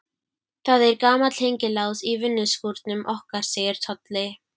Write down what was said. Það er gamall hengilás í vinnuskúrnum okkar segir Tolli.